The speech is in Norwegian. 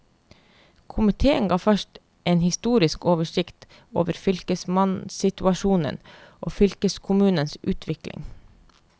Komiteen gav først en historisk oversikt over fylkesmannsinstitusjonen og fylkeskommunens utvikling.